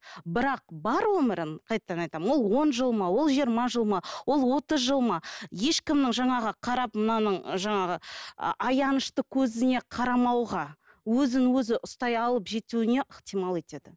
бірақ бар ғұмырын қайтадан айтамын ол он жыл ма ол жиырма жыл ма ол отыз жыл ма ешкімнің жаңағы қарап мынаның жаңағы аянышты көзіне қарамауға өзін өзі ұстай алып жетуіне ықтимал етеді